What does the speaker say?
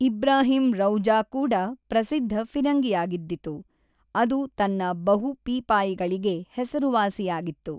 ಇಬ್ರಾಹಿಂ ರೌಜಾ ಕೂಡ ಪ್ರಸಿದ್ಧ ಫಿರಂಗಿಯಾಗಿದ್ದಿತು, ಅದು ತನ್ನ ಬಹು-ಪೀಪಾಯಿಗಳಿಗೆ ಹೆಸರುವಾಸಿಯಾಗಿತ್ತು.